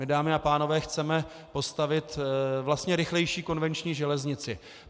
My, dámy a pánové, chceme postavit vlastně rychlejší konvenční železnici.